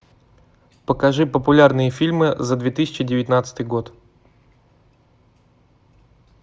покажи популярные фильмы за две тысячи девятнадцатый год